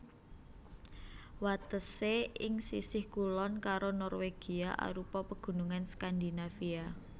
Watesé ing sisih kulon karo Norwegia arupa Pegunungan Skandinavia